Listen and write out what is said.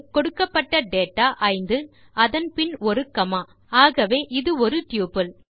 கொடுக்கப்பட்ட டேட்டா 5 அதன் பின் ஒரு காமா ஆகவே இது ஒரு டப்பிள்